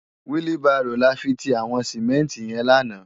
Wili bàró làfi ti àwòn simènti yèn làná